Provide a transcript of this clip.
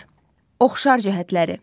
Oxşar cəhətləri.